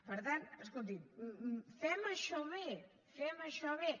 per tant escolti’m fem això bé fem això bé